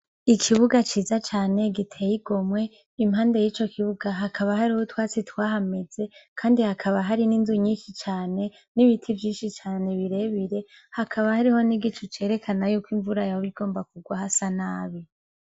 Ikibuga ciza cane giteye igomwe impande y'ico kibuga hakaba hari utwatsi twahameze, kandi hakaba hari n'inzu nyinshi cane n'ibiti vyinshi cane birebire hakaba hariho nigicu cerekana yuko imvura yawo bigomba kugwa hasa nabi.